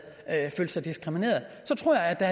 følt sig diskrimineret så tror jeg der